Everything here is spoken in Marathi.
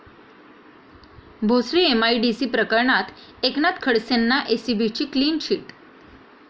भोसरी एमआयडीसी प्रकरणात एकनाथ खडसेंना एसीबीची क्लीन चिट